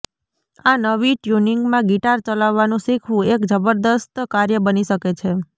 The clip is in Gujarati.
આ નવી ટ્યુનિંગમાં ગિટાર ચલાવવાનું શીખવું એક જબરજસ્ત કાર્ય બની શકે છે